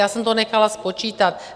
Já jsem to nechala spočítat.